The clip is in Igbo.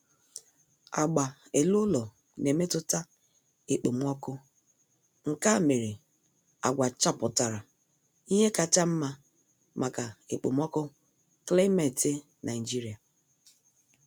Agba ele-ụlọ na-emetụta ekpomọọkụ, nkea mere agwa chapụtara ihe kacha nma maka ekpomọọkụ klimeti Nigeria